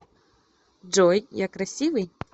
джой я красивый